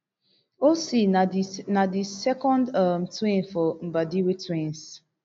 ocee na di na di second um twin for di mbadiwe twins